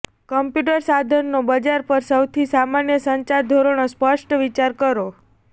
computer સાધનો બજાર પર સૌથી સામાન્ય સંચાર ધોરણો સ્પષ્ટ વિચાર કરો